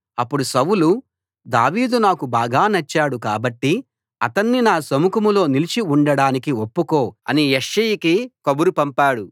అప్పుడు సౌలు దావీదు నాకు బాగా నచ్చాడు కాబట్టి అతణ్ణి నా సముఖంలో నిలిచి ఉండడానికి ఒప్పుకో అని యెష్షయికి కబురు పంపాడు